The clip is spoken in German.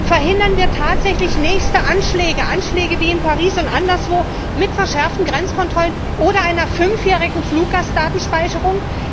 Verhindern wir tatsächlich nächste Anschläge, Anschläge wie in Paris und anderswo mit verschärften Grenzkontrollen oder einer fünfjährigen Fluggastdatenspeicherung?